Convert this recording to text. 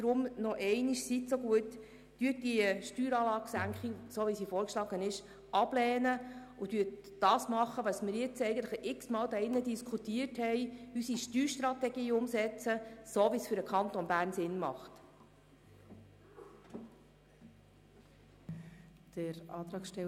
Deshalb nochmals: Seien Sie so gut, lehnen Sie bitte diese Steueranlagesenkung, so wie sie vorgeschlagen ist, ab und tun Sie das, was wir jetzt bereits x-mal hier drin diskutiert haben, nämlich die Umsetzung der Steuerstrategie, so wie es für den Kanton Bern sinnvoll ist.